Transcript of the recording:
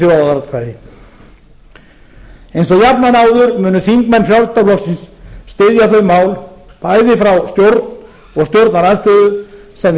þjóðaratkvæði eins og jafnan áður munu þingmenn frjálsl styðja þau mál bæði frá stjórn og stjórnarandstöðu sem við